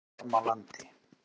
Bjarmalandi